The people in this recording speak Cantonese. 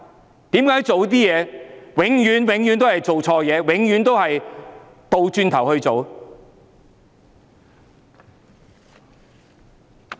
為何政府做的事情永遠都是錯的、永遠都是倒行逆施？